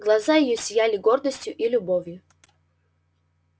глаза её сияли гордостью и любовью